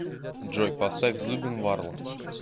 джой поставь зубин варла